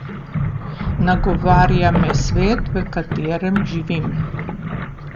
Nagovarja me svet, v katerem živim.